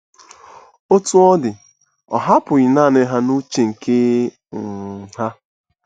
Otú ọ dị, ọ hapụghị nanị ha n'uche nke um ha.